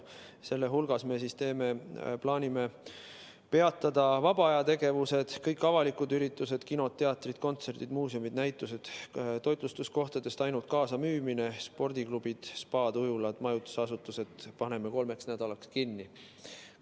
Selle hulgas me plaanime peatada vabaajategevused, kõik avalikud üritused, sulgeda kinod, teatrid, kontserdid, muuseumid, näitused, toitlustuskohtades on võimalik ainult kaasamüük, spordiklubid, spaad, ujulad ja majutusasutused paneme kolmeks nädalaks kinni.